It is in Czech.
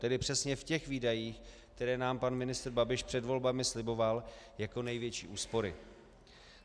Tedy přesně v těch výdajích, které nám pan ministr Babiš před volbami sliboval jako největší úspory.